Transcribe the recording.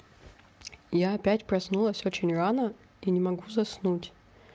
я опять проснулась очень рано и не могу заснуть